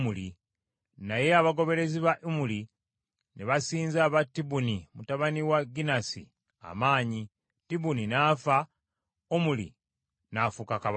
Naye abagoberezi ba Omuli ne basinza aba Tibuni mutabani wa Ginasi amaanyi; Tibuni n’afa, Omuli n’afuuka kabaka.